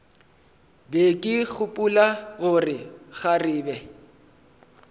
be ke gopola gore kgarebe